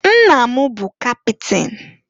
Nna m bụ kapịtịn.